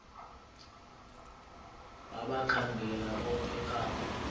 wabakhangela bonke abo